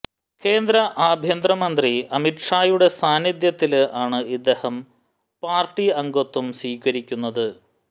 കേന്ദ്ര ആഭ്യന്തരമന്ത്രി അമിത് ഷായുടെ സാന്നിധ്യത്തില് ആണ് ഇദ്ദേഹം പാര്ട്ടി അംഗത്വം സ്വീകരിക്കുന്നത്